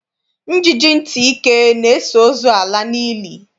Njiji ntị ike na-eso ozu ala n'ili.